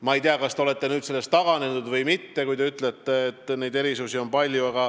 Ma ei tea, kas te olete nendest taganenud või mitte, kui te ütlete, et erisusi on palju.